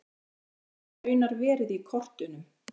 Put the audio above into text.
Þetta hefði raunar verið í kortunum